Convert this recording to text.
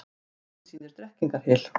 Myndin sýnir Drekkingarhyl.